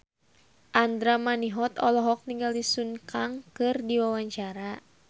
Andra Manihot olohok ningali Sun Kang keur diwawancara